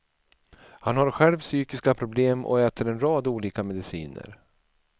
Han har själv psykiska problem och äter en rad olika mediciner.